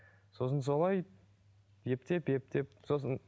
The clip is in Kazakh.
сосын солай ептеп ептеп сосын